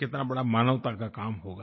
कितना बड़ा मानवता का काम होगा